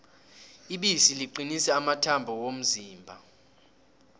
ibisi liqinisa amathambo womzimba